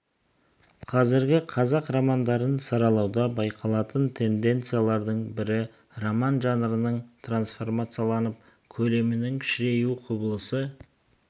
қазіргі қазақ романдарын саралауда байқалатын тенденциялардың бірі роман жанрының транцформацияланып көлемінің кішіреюі құбылысы